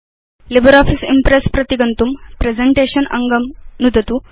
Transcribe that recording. LibreOffice Impress अभिगन्तुं presentation अङ्गं नुदतु